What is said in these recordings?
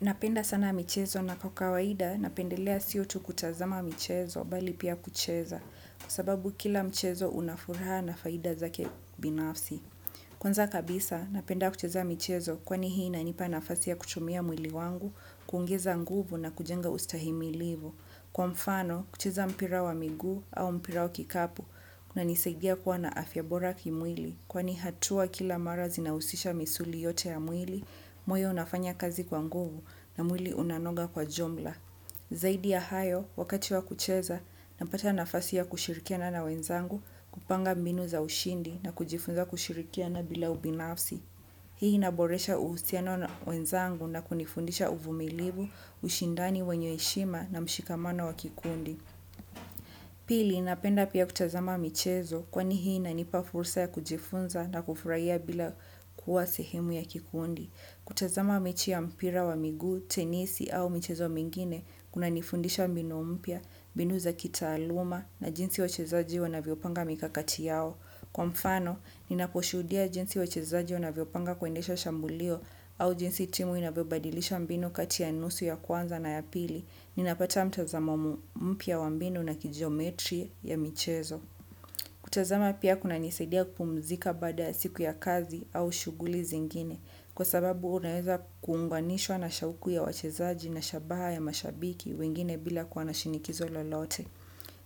Napenda michezo na kwa kawaida napendelea sio tu kutazama michezo bali pia kucheza kwa sababu kila mchezo una furaha na faida zake binafsi kwanza kabisa napenda kucheza michezo kwani hii inanipa nafasi ya kutumia mwili wangu kuongeza nguvu na kujenga ustahimilivu. Kwa mfano kucheza mpira wa miguu au mpira wa kikapu unanisaidia kuwa na afya bora kimwili kwani hatua kila mara zinahusisha misuli yote ya mwili, moyo unafanya kazi kwa nguvu na mwili unanoga kwa jumla. Zaidi ya hayo, wakati wa kucheza, napata nafasi ya kushirikiana na wenzangu, kupanga mbinu za ushindi na kujifunza kushirikiana bila ubinafsi. Hii inaboresha uhusiano na wenzangu na kunifundisha uvumilivu, ushindani wenye heshima na mshikamano wa kikundi. Pili napenda pia kutazama michezo kwani hii inanipa fursa ya kujifunza na kufurahia bila kuwa sehemu ya kikundi. Kutazama mechi ya mpira wa miguu, tenisi au michezo mingine kunanifundisha mbinu mpya, mbinu za kitaaluma na jinsi wachezaji wanavyopanga mikakati yao. Kwa mfano, ninaposhuhudia jinsi wachezaji wanavyopanga kuendesha shambulio au jinsi timu inavyobadilisha mbinu kati ya nusu ya kwanza na ya pili. Ninapata mtazamo mpya wa mbinu na kijometri ya mchezo. Kutazama pia kunanisidia kupumzika baada ya siku ya kazi au shughuli zingine kwa sababu unaweza kuunganishwa na shauku ya wachezaji na shabaha ya mashabiki wengine bila kuwa na shinikizo lolote.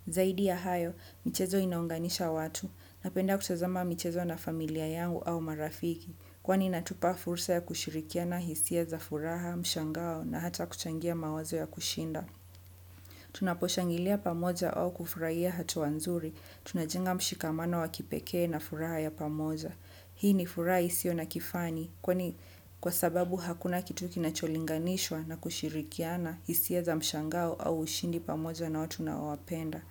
Zaidi ya hayo, michezo inaunganisha watu napenda kutazama michezo na familia yangu au marafiki kwani inatupa fursa ya kushirikiana hisia za furaha, mshangao na hata kuchangia mawazo ya kushinda. Tunaposhangilia pamoja au kufurahia hatua nzuri, tunajenga mshikamano wa kipekee na furaha ya pamoja. Hii ni furaha isiyo na kifani, kwa sababu hakuna kitu kinacholinganishwa na kushirikiana hisia za mshangao au ushindi pamoja na watu na unaowapenda.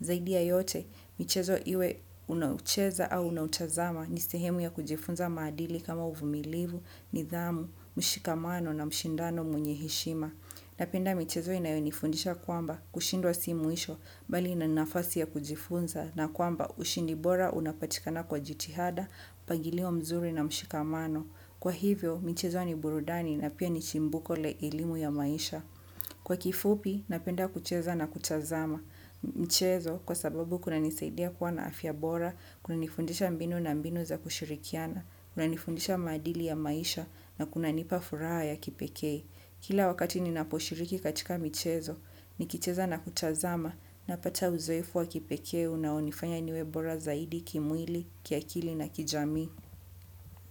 Zaidi ya yote, michezo iwe unaucheza au unautazama ni sehemu ya kujifunza maadili kama uvumilivu, nidhamu, mshikamano na mshindano mwenye heahima. Napenda michezo inayonifundisha kwamba kushindwa si mwisho, bali ni nafasi ya kujifunza na kwamba ushindi bora unapatikana kwa jitihada, mpangilio mzuri na mshikamano. Kwa hivyo, michezo ni burudani na pia ni chimbuko le elimu ya maisha. Kwa kifupi, napenda kucheza na kuchazama. Mchezo, kwa sababu kunanisaidia kwa na afya bora, kunanifundisha mbinu na mbinu za kushirikiana, kunanifundisha maadili ya maisha na kunanipa furaha ya kipekee. Kila wakati ninaposhiriki katika michezo, nikicheza na kutazama na pata uzoefu wa kipekee unaonifanya niwe bora zaidi kimwili, kiakili na kijamii.